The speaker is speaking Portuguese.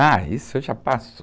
Ah, isso já passo.